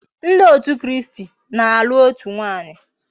Ndi otu kristi n'alu otu nwaanyi